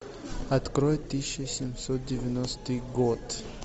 открой тысяча семьсот девяностый год